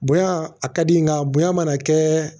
Bonya a ka di n ye nka bonya mana kɛ